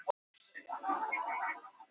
Andreas er nú þegar mjög góður fótboltamaður.